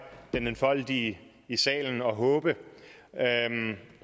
den enfoldige i salen og håbe